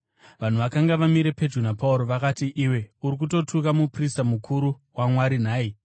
Vaya vakanga vamire pedyo naPauro vakati, “Iwe uri kutotuka muprista mukuru waMwari nhai?”